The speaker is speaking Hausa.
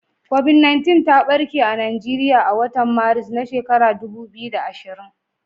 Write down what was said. COVID-19 ta ɓarke a Najeriya a watan Maris, na shekarar dubu biyu da ashirin.